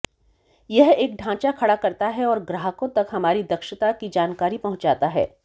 यह एक ढांचा खड़ा करता है और ग्राहकों तक हमारी दक्षता की जानकारी पहुंचाता है